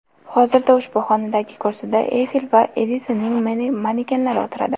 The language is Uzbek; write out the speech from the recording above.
Hozirda ushbu xonadagi kursida Eyfel va Edisonning manekenlari o‘tiradi.